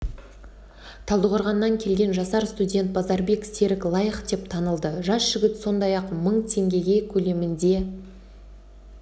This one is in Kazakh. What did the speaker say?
талдықорғаннан келген жасар студент базарбек серік лайық деп танылды жас жігіт сондай-ақ мың теңге көлемінде